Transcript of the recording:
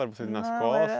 Vocês nas costas? Não, era